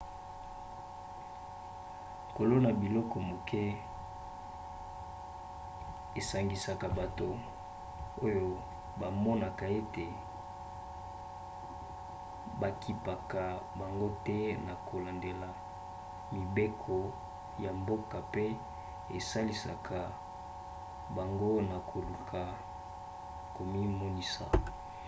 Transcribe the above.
kolona biloko moke esangisaka bato oyo bamonaka ete bakipaka bango te na kolandela mibeko ya mboka pe esalisaka bango na koluka komimonisa